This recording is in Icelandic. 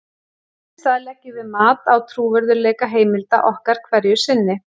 Þess í stað leggjum við mat á trúverðugleika heimilda okkar hverju sinni.